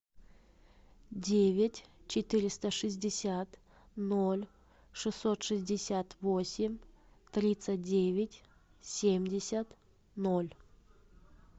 девять четыреста шестьдесят ноль шестьсот шестьдесят восемь тридцать девять семьдесят ноль